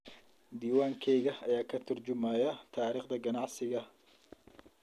Diiwaankayaga ayaa ka tarjumaya taariikhda ganacsiga.